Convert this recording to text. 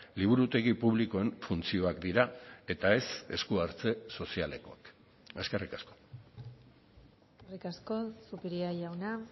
liburutegi publikoen funtzioak dira eta ez esku hartze sozialekoak eskerrik asko eskerrik asko zupiria jauna